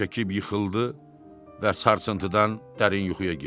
Ah çəkib yıxıldı və sarsıntıdan dərin yuxuya getdi.